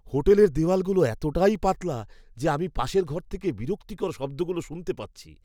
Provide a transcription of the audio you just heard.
হোটেলের দেওয়ালগুলো এতটাই পাতলা যে আমি পাশের ঘর থেকে বিরক্তিকর শব্দগুলো শুনতে পাচ্ছি!